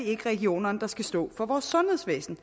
ikke regionerne der skal stå for vores sundhedsvæsen